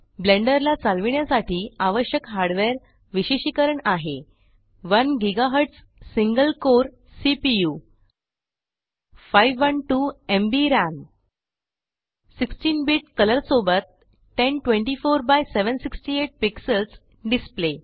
blender ला चालविण्यासाठी आवश्यक हार्ड वेअर विशेषिकरण आहे 1 ग्झ single core CPU 512 MB RAM 16 bit colour सोबत 1024 एक्स 768 पीएक्स डिस्प्ले